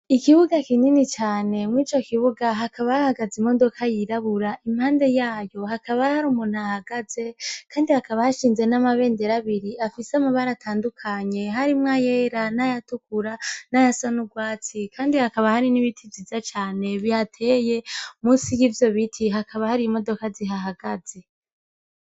Ikibuga kinini cane , inyuma yico kibuga hakaba hahagaze imodoka yiraburabura , impande yayo hakaba har’umuntu aha hagaze Kandi hakaba hashinze amabendera abiri afise amabara atandukanye harimwo ayera nayatukura, nayasa n’urwatsi, Kandi hakaba hari n’ibiti vyiza cane bihateye munsi yivyobiti hakaba hari imodoka zihahagaze .